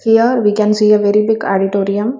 Here we can see a very big auditorium.